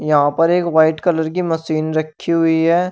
यहां पर एक वाइट कलर की मशीन रखी हुई है।